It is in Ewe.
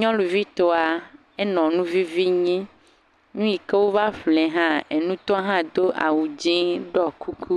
Nyɔnuvi tɔa nɔ nuvivi nyim. Nu yike wo va ƒle hã, enutɔa la do awu dzɛ ɖɔ kuku.